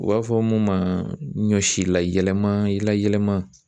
U b'a fɔ mun ma ɲɔsi la yɛlɛma layɛlɛma.